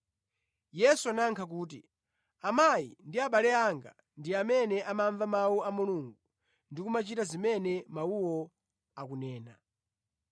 Yesu anayankha kuti, “Amayi ndi abale anga ndi amene amamva mawu a Mulungu ndi kumachita zimene mawuwo akunena.”